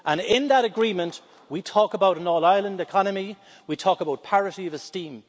In that Agreement, we talk about an all Ireland economy and we talk about parity of esteem.